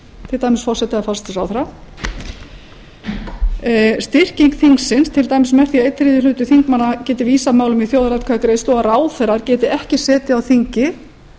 til dæmis forseta eða forsætisráðherra styrkingsins til dæmis með því að einn þriðji hluti þingmanna geti vísað málum í þjóðaratkvæðagreiðslu og ráðherrar geti ekki setið á þingi